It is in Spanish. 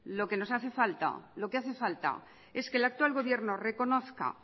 lo que hace falta es que el actual gobierno reconozca